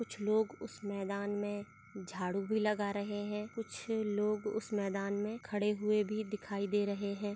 कुछ लोग उस मैदान में झाड़ू भी लगा रहे हैं कुछ लोग उस मैदान में खड़े हुए भी दिखाई दे रहे हैं।